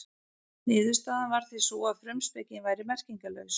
Niðurstaðan varð því sú að frumspekin væri merkingarlaus.